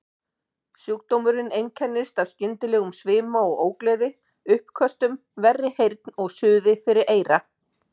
Sjúkdómurinn einkennist af skyndilegum svima og ógleði, uppköstum, verri heyrn og suði fyrir eyra.